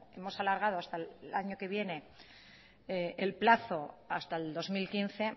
hemos alargado hasta el año que viene el plazo hasta el dos mil quince